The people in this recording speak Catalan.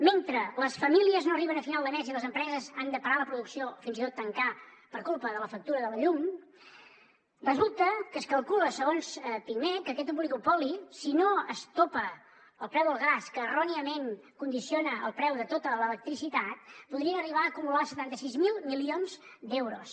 mentre les famílies no arriben a final de mes i les empreses han de parar la producció o fins i tot tancar per culpa de la factura de la llum resulta que es calcula segons pimec que aquest oligopoli si no es topa el preu del gas que erròniament condiciona el preu de tota l’electricitat podria arribar a acumular setanta sis mil milions d’euros